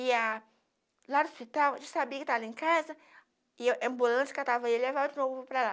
Ia lá no hospital, eu já sabia que ele estava lá em casa, e a ambulância catava ele e levava de novo para lá.